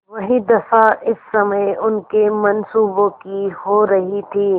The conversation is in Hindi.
वही दशा इस समय उनके मनसूबों की हो रही थी